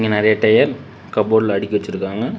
நறையா டயர் கபோர்டுல அடுக்கி வச்சுருக்காங்க.